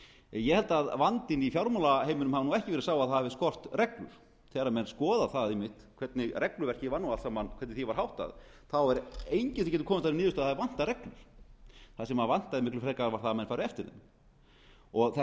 ég held að vandinn í fjármálaheiminum hafi ekki verið sá að það hafi skort reglur þegar menn skoða það einmitt hvernig regluverkinu öllu saman var háttað þá er enginn sem getur komist að þeirri niðurstöðu að það vanti reglur það sem vantaði miklu frekar var að menn færu eftir þeim það